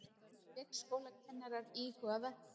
Leikskólakennarar íhuga verkföll